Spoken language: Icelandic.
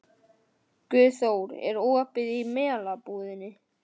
Guðþór, er opið í Melabúðinni?